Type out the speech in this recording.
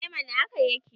e mana haka yake